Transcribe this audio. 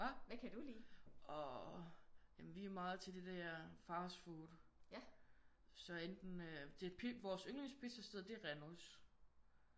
Hvad? Åh ja men vi er meget til det der fastfood. Så enten øh vores yndlings pizzasted det er Renus